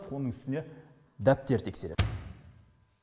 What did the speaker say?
оның үстіне дәптер тексереді